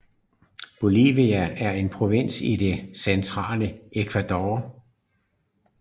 Bolívar er en provins i det centrale Ecuador